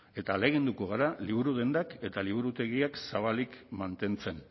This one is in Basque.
eta ahaleginduko gara liburu dendak eta liburutegiak zabalik mantentzen